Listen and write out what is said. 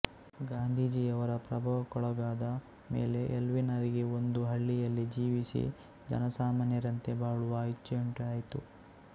ಗಾಂಧೀಜಿಯವರ ಪ್ರಭಾವಕ್ಕೊಳಗಾದ ಮೇಲೆ ಎಲ್ವಿನ್ನರಿಗೆ ಒಂದು ಹಳ್ಳಿಯಲ್ಲಿ ಜೀವಿಸಿ ಜನಸಾಮಾನ್ಯರಂತೆ ಬಾಳುವ ಇಚ್ಚೆಯುಂಟಾಯಿತು